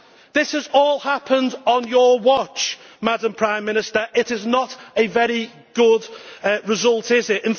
This has all happened on your watch, Madam Prime Minister it is not a very good result, is it?